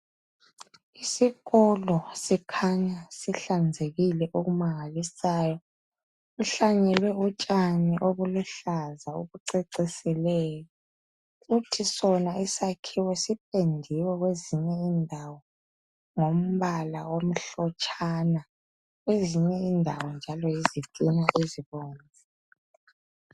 Isikolo sikhanya sihlanzekile okumangalisayo, sihlanyelwe utshani obuluhlaza obucecisileyo. Kuthi sona isakhiwo sipendiwe kwezinye indawo ngombala omhlotshana. Kwezinye indawo njalo yizitina ezibomvu.